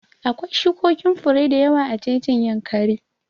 Akwai shukokin fure da yawa a jejin Yankari